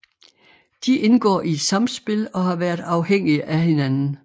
De indgår i et samspil og har været afhængige af hinanden